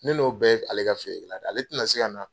Ne n'o bɛɛ bɛ ale ka feere la de ale tina se ka na.